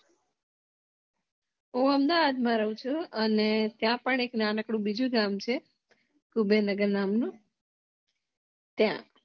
હું અમદાવાદ મા રહું છું અને ત્યાં પણ એક નાનકડું બીજું ગામ છે ત્યાં